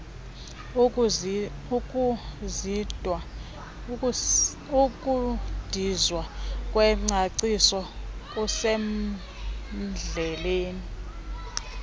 ukudizwa kwengcaciso kusemdleni